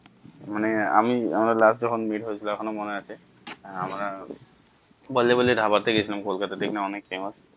মানে আমি আমরা last যখন meet হয়ে ছিলাম এখন ও মনে আছে আমরা বল্লে বল্লে ধাবা তে গেছিলাম কোলকাতায় অনেক famous